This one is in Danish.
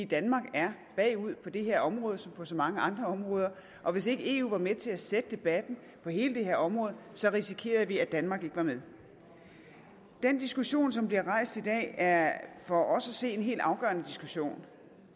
danmark er bagud på det her område som på så mange andre områder og hvis ikke eu var med til at sætte debatten på hele det her område risikerede vi at danmark ikke var med den diskussion som bliver rejst i dag er for os at se en helt afgørende diskussion